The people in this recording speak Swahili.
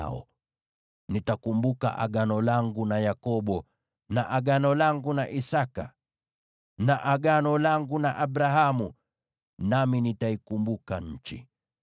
nami nitakumbuka agano langu na Yakobo, na agano langu na Isaki, na agano langu na Abrahamu, nami nitaikumbuka nchi.